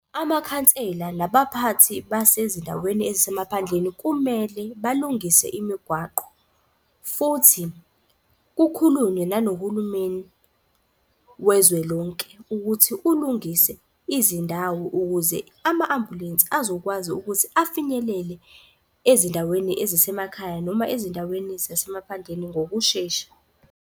Amakhansela nabaphathi basezindaweni ezisemaphandleni kumele balungise imigwaqo, futhi kukhulunywe nanohulumeni wezwe lonke, ukuthi ulungise izindawo ukuze ama-ambulensi azokwazi ukuthi afinyelele ezindaweni ezisemakhaya noma ezindaweni zasemaphandleni ngokushesha.